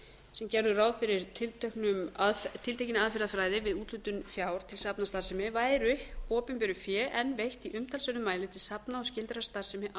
sem gerðu ráð fyrir tiltekinni aðferðafræði við úthlutun fjár til safnastarfsemi væri opinberu fé enn veitt í umtalsverðum mæli til safna og skyldrar starfsemi